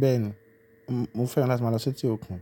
Bẹ́ẹ̀ni, mo fẹ́ràn láti máa lọ sí etí òkun.